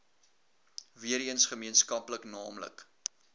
weereens gemeenskaplik naamlik